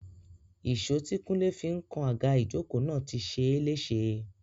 Ìṣó tí kúnlé fi ń kan àga ìjókòó náà ti ṣe é léṣe